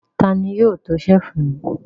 Ta ni yóò to ṣẹ́lífù mi?